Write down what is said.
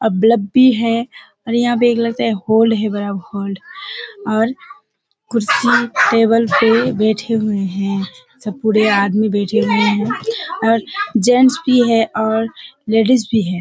अ bulb भी है और यहाँ पे लगता है है बड़ा और कुर्सी टेबल पर बैठे हुए हैं सब पुरे आदमी बैठे हुए और जेंट्स भी हैं और लेडिस भी है।